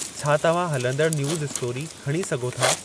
छा तव्हां हलंदड़ न्यूज़ स्टोरी खणी सघो था